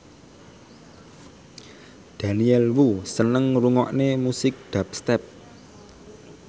Daniel Wu seneng ngrungokne musik dubstep